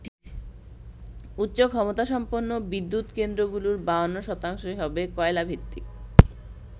উচ্চ ক্ষমতাসম্পন্ন বিদ্যুৎ কেন্দ্রগুলোর ৫২ শতাংশই হবে কয়লাভিত্তিক।